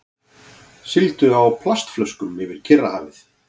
Sigldu á plastflöskum yfir Kyrrahafið